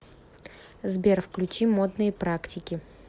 сбер включи модные практики